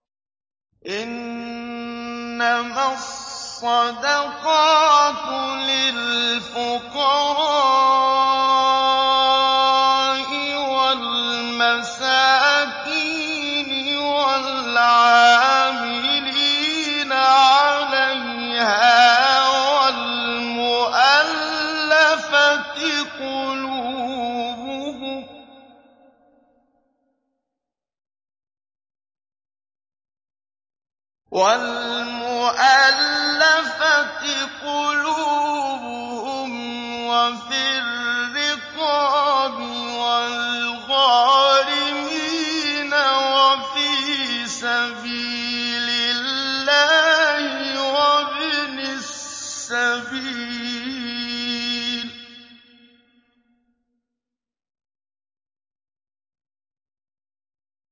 ۞ إِنَّمَا الصَّدَقَاتُ لِلْفُقَرَاءِ وَالْمَسَاكِينِ وَالْعَامِلِينَ عَلَيْهَا وَالْمُؤَلَّفَةِ قُلُوبُهُمْ وَفِي الرِّقَابِ وَالْغَارِمِينَ وَفِي سَبِيلِ اللَّهِ وَابْنِ السَّبِيلِ ۖ